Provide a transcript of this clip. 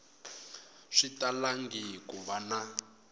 swi talangi ku va na